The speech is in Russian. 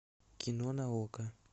кино на окко